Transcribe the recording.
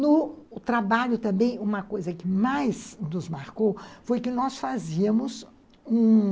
No trabalho também, uma coisa que mais nos marcou foi que nós fazíamos um...